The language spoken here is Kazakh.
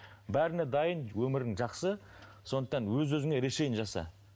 бәріне дайын өмірің жақсы сондықтан өз өзіңе решение жаса